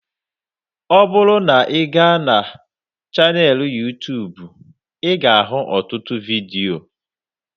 Ọ bụrụ na ị ga na chaneelụ Yuu-tuubu ị ga ahụ ọtụtụ vidio